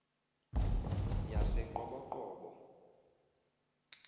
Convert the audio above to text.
yaseqoboqobo